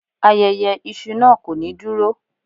Ayẹyẹ iṣu naa ko ni duro